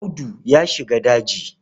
Audu ya shiga daji.